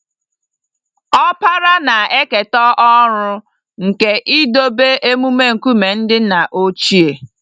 Ọkpara na-eketa ọrụ nke idobe emume nkume ndị nna ochie.